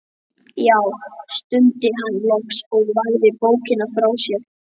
Já, stundi hann loks og lagði bókina frá sér.